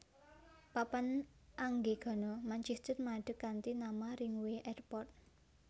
Papan Anggegana Manchester madeg kanthi nama Ringway Airport